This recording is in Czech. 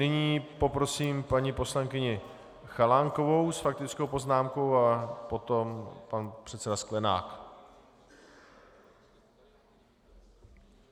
Nyní poprosím paní poslankyni Chalánkovou s faktickou poznámkou a potom pan předseda Sklenák.